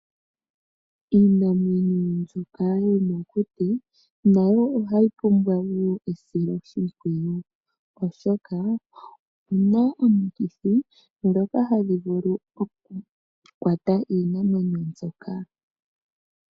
Iinamwenyo mbyoka yomokuti nayo ohayi pumbwa ne esiloshipwiyu oshoka oku na omikithi dhoka hadhi vulu okukwata iinamwenyo mbyoka.